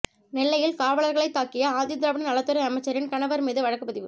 நெல்லையில் காவலர்களைத் தாக்கிய ஆதி திராவிட நலத்துறை அமைச்சரின் கணவர் மீது வழக்கு பதிவு